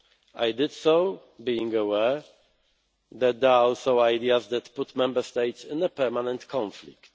I did so being aware that there are also ideas that put Member States in a permanent conflict.